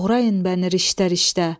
Doğrayın məni riştə-riştə.